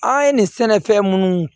An ye nin sɛnɛfɛn munnu